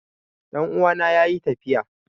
Ɗan'uwana yayi tafiya